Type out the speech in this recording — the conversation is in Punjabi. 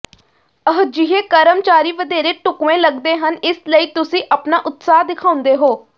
ਅਜਿਹੇ ਕਰਮਚਾਰੀ ਵਧੇਰੇ ਢੁਕਵੇਂ ਲੱਗਦੇ ਹਨ ਇਸ ਲਈ ਤੁਸੀਂ ਆਪਣਾ ਉਤਸਾਹ ਦਿਖਾਉਂਦੇ ਹੋ